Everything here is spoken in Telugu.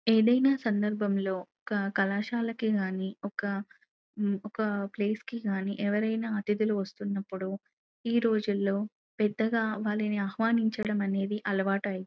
ఏదైనా సందర్భంలో ఒక కళాశాలకి గానీ ఒక ఒక ప్లేస్ కి గాని ఎవరైనా అతిధులు వస్తున్నప్పుడు ఈ రోజుల్లో పెద్దగా వాళ్ళని ఆహ్వానించడం అనేది అలవాటైంది.